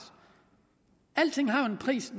alting har jo en pris